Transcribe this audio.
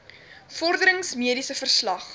vorderings mediese verslag